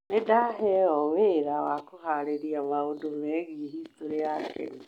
Nĩ ndahenyo wĩra wa kũhaarĩria maũndũ megiĩ historĩ ya Kenya.